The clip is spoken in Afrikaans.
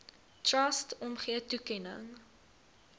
trust omgee toekenning